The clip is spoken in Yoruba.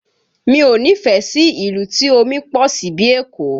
Mi ò nífẹ̀ẹ́ sí ìlú tí omi pọ̀ sí bíi Èkó